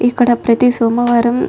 ఇక్కడ ప్రతి సోమవారం --